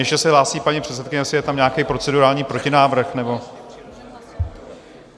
Ještě se hlásí paní předsedkyně, jestli je tam nějaký procedurální protinávrh nebo...